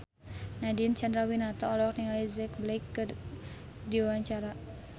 Nadine Chandrawinata olohok ningali Jack Black keur diwawancara